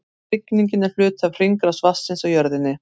Rigningin er hluti af hringrás vatnsins á jörðinni.